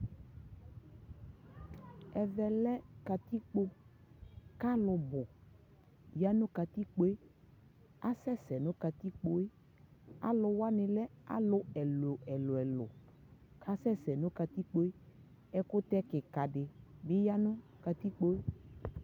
ɛvɛ lɛ katikpɔ kʋ alʋ bʋ yanʋ katikpɔɛ, asɛsɛ nʋ katikpɔɛ, alʋ wani lɛ alʋ ɛlʋɛlʋ kʋ asɛsɛ nʋ katikpɔɛ, ɛkʋtɛ kikaa dibi yanʋ katikpɔɛ